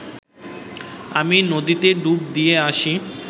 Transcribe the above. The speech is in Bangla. আমি নদীতে ডুব দিয়ে আসি